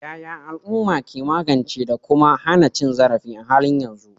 Yaya al'uma ke magance da kuma hana cin zarafi a halin yanzu?